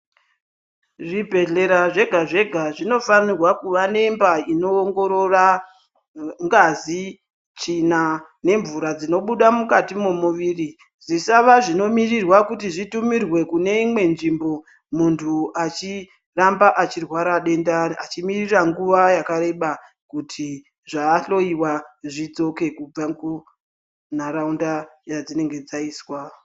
Zvibhehlera zvega-zvega zvinofanirwa kuva nemba inoongorora ngazi, tsvina nemvura dzinobuda mukati memuviri zvisava zvinomirirwa kuti zvitumirwe kune imwe nzvimbo muntu achiramba achirwara denda achimirira nguwa yakareba kuti zvaahloyiwa zvidzoke kubva kunharaunda yadzinenge dzaiswa.